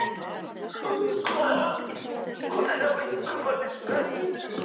Rán, hvað er á innkaupalistanum mínum?